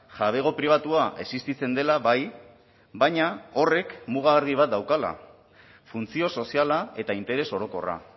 jabego pribatua existitzen dela bai baina horrek muga argi bat daukala funtzio soziala eta interes orokorra